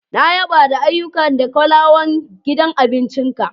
Na yaba da ayyuka da kulawan gidan abincin ka.